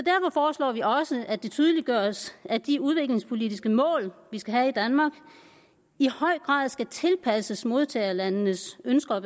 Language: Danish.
foreslår vi også at det tydeliggøres at de udviklingspolitiske mål man skal have i danmark i høj grad skal tilpasses modtagerlandenes ønsker og